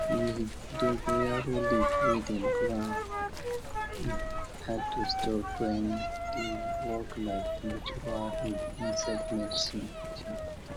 um dogo yaro leaf wey dem grind add to store grain dey work like natural insect medicine